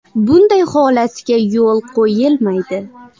Bunday holatga yo‘l qo‘yilmaydi.